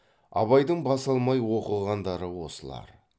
абайдың бас алмай оқығандары осылар